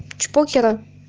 чпокера